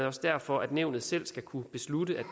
også derfor at nævnet selv skal kunne beslutte